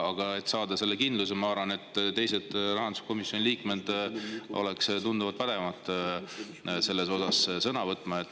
Aga et saada kindlust, ma arvan, oleks teised rahanduskomisjoni liikmed tunduvalt paremad selles asjas sõna võtma.